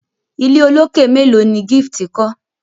ilé olokè melo ní Gift kò?